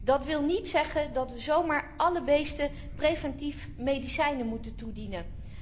Dat wil niet zeggen dat we zomaar alle beesten preventief medicijnen moeten toedienen.